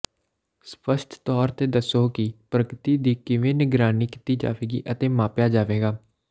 ਸਪੱਸ਼ਟ ਤੌਰ ਤੇ ਦੱਸੋ ਕਿ ਪ੍ਰਗਤੀ ਦੀ ਕਿਵੇਂ ਨਿਗਰਾਨੀ ਕੀਤੀ ਜਾਵੇਗੀ ਅਤੇ ਮਾਪਿਆ ਜਾਵੇਗਾ